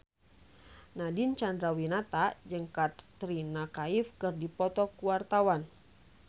Nadine Chandrawinata jeung Katrina Kaif keur dipoto ku wartawan